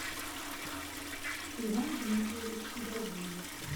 иван дмитриевич гарбузов